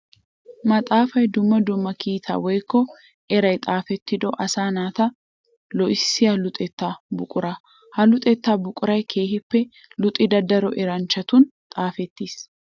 Maxaafay dumma dumma kiitaa woykko eray xaafettido asaa naata loohissiya luxetta buqura. Ha luxetta buquray keehippe luxida daro eranchchattun xaafettes.